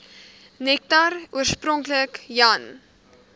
nektar oorspronklik jan